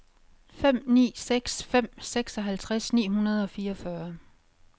fem ni seks fem seksoghalvtreds ni hundrede og fireogfyrre